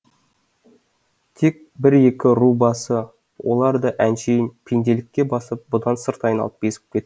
тек бір екі ру басы олар да әншейін пенделікке басып бұдан сырт айналып безіп кетті